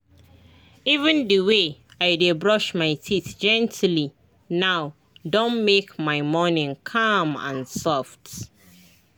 even the way i dey brush my teeth gently now don make my morning calm and soft.